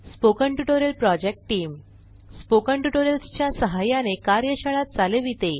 spoken tutorial project team spoken tutorials च्या सहाय्याने कार्यशाळा चालविते